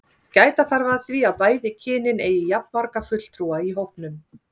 gæta þarf að því að bæði kynin eigi jafnmarga fulltrúa í hópnum